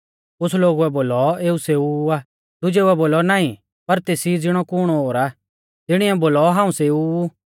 कुछ़ लोगुऐ बोलौ एऊ सेऊ ऊ आ दुजेउऐ बोलौ नाईं पर तेसी ज़िणौ कुण ओर आ तिणीऐ बोलौ हाऊं सेऊ ऊ